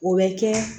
O bɛ kɛ